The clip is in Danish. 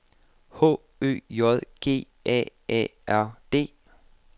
H Ø J G A A R D